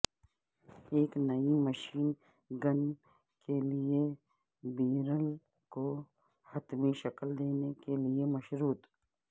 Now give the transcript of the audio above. ایک نئی machine gun کے لئے بیرل کو حتمی شکل دینے سے مشروط